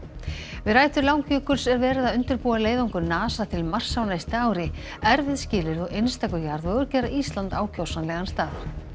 við rætur Langjökuls er verið að undirbúa leiðangur NASA til Mars á næsta ári erfið skilyrði og einstakur jarðvegur gera Ísland ákjósanlegan stað